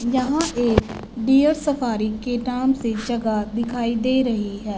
यहां एक deer safari के नाम से जगह दिखाई दे रही है।